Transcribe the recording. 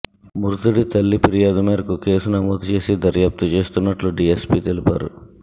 మృతుడి తల్లి ఫిర్యాదు మేరకు కేసు నమోదు చేసి దర్యాప్తు చేస్తున్నట్లు డీఎస్పీ తెలిపారు